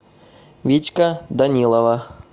витька данилова